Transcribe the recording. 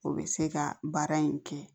O bɛ se ka baara in kɛ